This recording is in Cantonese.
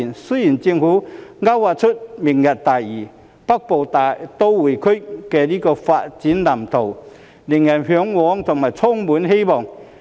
雖然政府勾劃出"明日大嶼"、"北部都會區"的發展藍圖，令人嚮往和充滿希望。